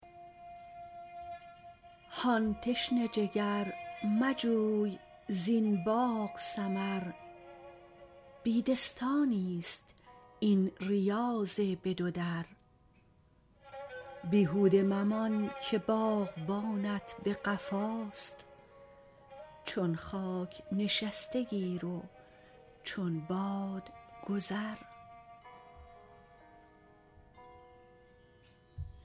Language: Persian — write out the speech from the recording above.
هان تشنه جگر مجوی زین باغ ثمر بیدستانی ست این ریاض به دو در بیهوده ممان که باغبانت به قفاست چون خاک نشسته گیر و چون باد گذر